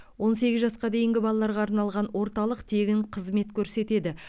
он сегіз жасқа дейінгі балаларға арналған орталық тегін қызмет көрсетеді